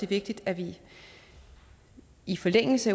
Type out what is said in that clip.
vigtigt at vi i forlængelse